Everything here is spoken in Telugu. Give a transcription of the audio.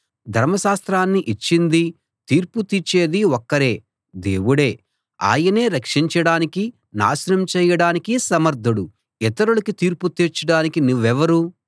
ధర్మశాస్త్రాన్ని ఇచ్చిందీ తీర్పు తీర్చేదీ ఒక్కరే దేవుడే ఆయనే రక్షించడానికీ నాశనం చేయడానికీ సమర్ధుడు ఇతరులకి తీర్పు తీర్చడానికి నువ్వెవరు